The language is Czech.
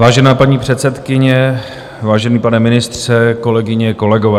Vážná paní předsedkyně, vážený pane ministře, kolegyně, kolegové.